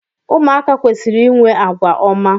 ụmụaka kwesịrị inwe àgwà ọma